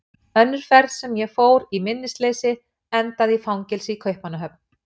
Önnur ferð sem ég fór í minnisleysi endaði í fangelsi í Kaupmannahöfn.